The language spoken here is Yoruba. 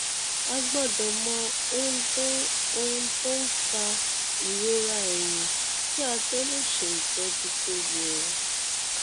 a gbọdọ mọ ohun tó ohun tó fa ìrora ẹyìn kí a tó lè ṣe ìtọjú tó yẹ